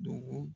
Dugu